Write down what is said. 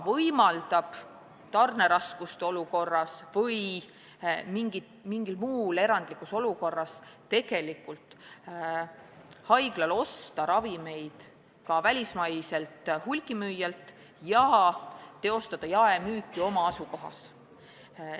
Eesmärk on, et tarneraskuste korral või mingis muus erandlikus olukorras oleks haiglal õigus osta ravimeid ka välismaiselt hulgimüüjalt ja teostada oma hoones ravimite jaemüüki.